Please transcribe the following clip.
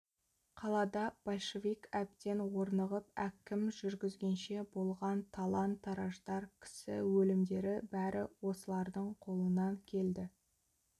қалада большевик әбден орнығып әкім жүргізгенше болған талан-тараждар кісі өлімдері бәрі осылардың қолынан келді